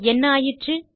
என்ன ஆயிற்று